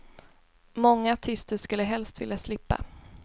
Många artister skulle helst vilja slippa.